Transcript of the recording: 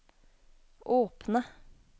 åpne